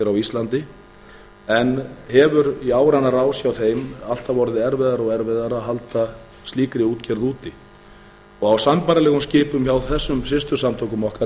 á íslandi en hefur í áranna rás hjá þeim alltaf orðið erfiðara og erfiðara að halda slíkri útgerð úti á sambærilegum skipum hjá þessum systursamtökum okkar